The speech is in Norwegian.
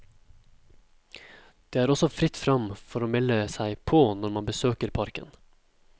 Det er også fritt frem for å melde seg på når man besøker parken.